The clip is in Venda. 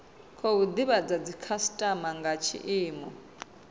khou divhadza dzikhasitama nga tshiimo